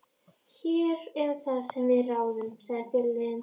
Hér erum það við sem ráðum, sagði fyrirliðinn.